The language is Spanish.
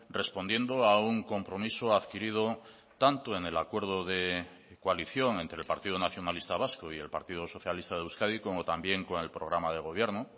respondiendo a un compromiso adquirido tanto en el acuerdo de coalición entre el partido nacionalista vasco y el partido socialista de euskadi como también con el programa de gobierno